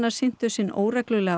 syntu sinn óreglulega